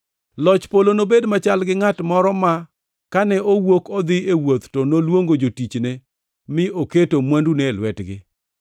“Loch Polo nobed machal gi ngʼat moro ma kane owuok odhi e wuoth to noluongo jotichne mi oketo mwandune e lwetgi.